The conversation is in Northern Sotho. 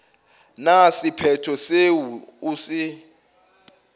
na sephetho seo o se